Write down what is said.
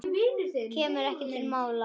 Kemur ekki til mála!